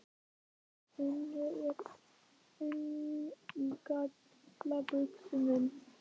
En ég er enn í galla buxunum.